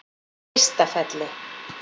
Ystafelli